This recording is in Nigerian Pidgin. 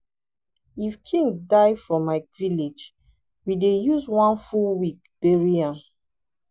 if king die for my village we dey use one full week bury am